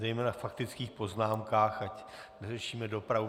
Zejména ve faktických poznámkách ať neřešíme dopravu.